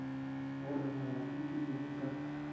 gore molato ke eng ka